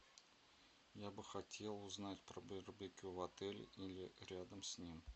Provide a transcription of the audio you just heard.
я бы хотел узнать про барбекю в отеле или рядом с ним